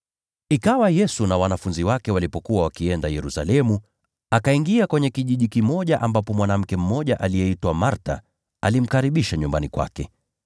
Ikawa Yesu na wanafunzi wake walipokuwa wakienda Yerusalemu, akaingia kwenye kijiji kimoja ambapo mwanamke mmoja aliyeitwa Martha alimkaribisha nyumbani kwake.